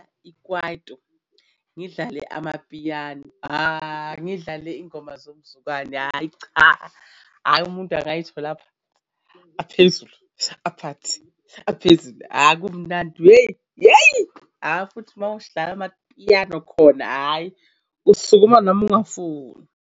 Ikwaito ngidlale amapiyano, hhayi ngidlale iy'ngoma zomzukwane hhayi cha, hhayi umuntu angayithola aphezulu aphathi aphezulu, hhayi kumnandi hheyi hheyi hheyi futhi mawuhlala amapiyano khona, hhayi usukuma noma ungafuni.